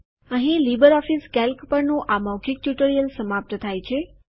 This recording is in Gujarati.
અહીં લીબરઓફીસ કેલ્ક પરનું આ મૌખિક ટ્યુટોરીઅલ સમાપ્ત થાય છે